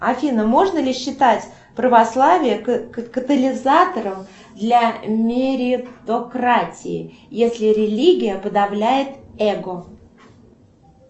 афина можно ли считать православие катализатором для меритократии если религия подавляет эго